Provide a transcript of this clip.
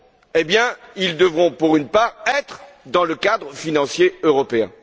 Eh bien, ils devront pour une part se trouver dans le cadre financier européen.